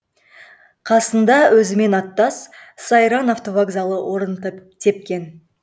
қасында өзімен аттас сайран автовокзалы орын тепкен